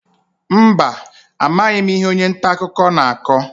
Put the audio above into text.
Mba, amaghị m ihe onye nta akụkọ na-akọ.